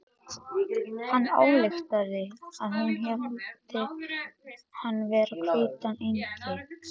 Hann ályktaði að hún héldi hann vera hvítan engil.